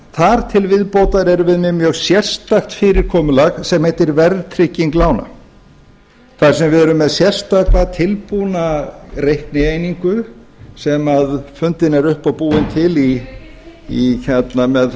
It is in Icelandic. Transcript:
þar til viðbótar erum við með mjög sérstakt fyrirkomulag sem heitir verðtrygging lána þar sem við erum með sérstaka tilbúna reiknieiningu sem fundin er upp og búin til með